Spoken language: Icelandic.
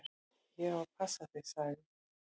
"""Ég á að passa þig, sagði"""